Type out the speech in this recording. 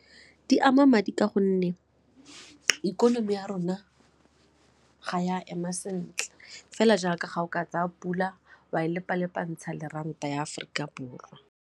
Di ama madi ka gonne ikonomi ya rona ga e a ema sentle fela jaaka ga o ka tsaya pula wa e lepalepantsha le ranta ya Aforika Borwa.